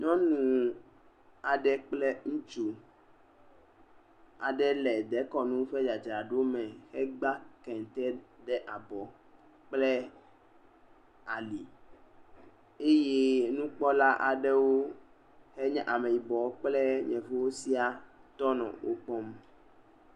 Nyɔnu aɖe kple ŋutsu aɖe le dekɔnu ƒe dzadzraɖo me egbea….ɖe abɔ kple ali eye nukpɔla aɖewo enye ameyibɔ kple yevuwo siaa wotɔ nɔ wo kpɔm.